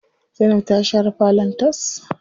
Zainab ta share falon tas.